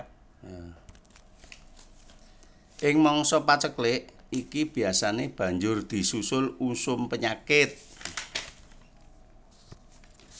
Ing mangsa paceklik iki biasané banjur disusul usum penyakit